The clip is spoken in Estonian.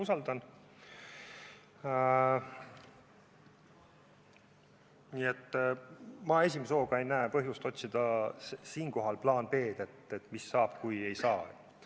Ma ei näe esimese hooga põhjust hakata siinkohal otsima plaan B-d, et mis saab, kui ei saa.